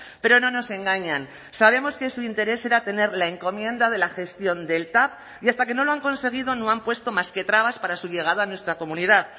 pero no nos engañan sabemos que su interés era tener la encomienda de la gestión del tav y hasta que no lo han conseguido no han puesto más que trabas para su llegada a nuestra comunidad